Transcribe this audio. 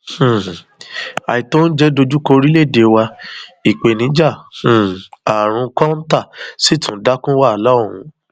um àìtó oúnjẹ dojú kọ orílẹèdè wa ìpèníjà um àrùn kọńtà sì tún dá kún wàhálà ọhún